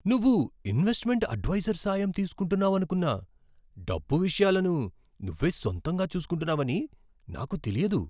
నువ్వు investment adviser సాయం తీసుకుంటున్నావనుకున్నా, డబ్బు విషయాలను నువ్వే సొంతంగా చూసుకుంటున్నావని నాకు తెలియదు.